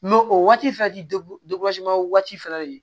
o waati fɛnɛ ti o waati fɛnɛ de